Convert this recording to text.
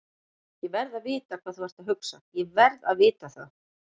ÉG VERÐ AÐ VITA HVAÐ ÞÚ ERT AÐ HUGSA, ÉG VERÐ AÐ VITA ÞAÐ!